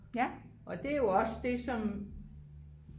og det er jo også det som